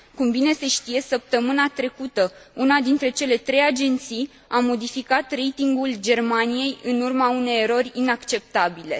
Cum bine se știe, săptămâna trecută, una dintre cele trei agenții a modificat ratingul Germaniei, în urma unei erori inacceptabile.